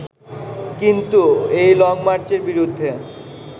কিন্তু এই লংমার্চের বিরুদ্ধে